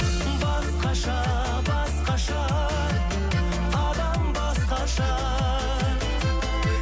басқаша басқаша адам басқаша